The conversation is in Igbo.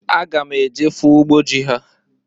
Aga m eje fụ ugbo ji ha.